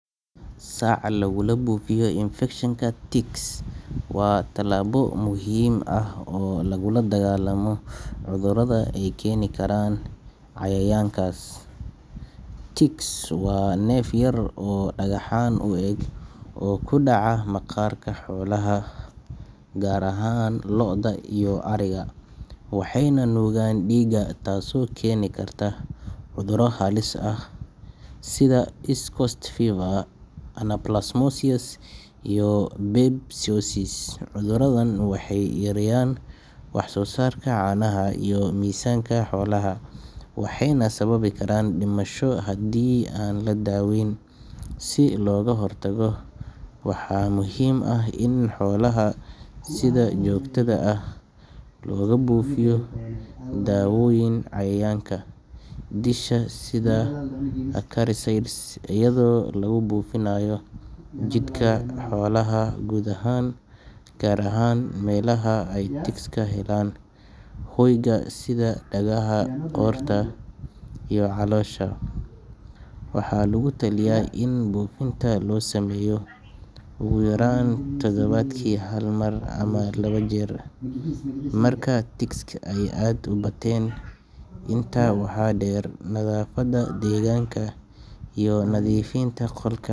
Sac lagula buufiyo infekshanka ticks waa tallaabo muhiim ah oo lagula dagaallamo cudurrada ay keeni karaan cayayaankaasi. Ticks waa neef yar oo dhagaxaan u eg oo ku dhaca maqaarka xoolaha, gaar ahaan lo’da iyo ariga, waxayna nuugaan dhiigga taasoo keeni karta cudurro halis ah sida East Coast Fever, Anaplasmosis, iyo Babesiosis. Cuduradan waxay yareeyaan waxsoosaarka caanaha iyo miisaanka xoolaha, waxayna sababi karaan dhimasho haddii aan la daweyn. Si looga hortago, waxaa muhiim ah in xoolaha sida joogtada ah loogu buufiyo dawooyin cayayaanka disha sida acaricides, iyadoo lagu buufinayo jidhka xoolaha guud ahaan, gaar ahaan meelaha ay ticks ka helaan hoyga sida dhagaha, qoorta iyo caloosha. Waxaa lagu taliyaa in buufinta la sameeyo ugu yaraan todobaadkii hal mar ama laba jeer marka ticks ay aad u bateen. Intaa waxaa dheer, nadaafadda deegaanka iyo nadiifinta qolka.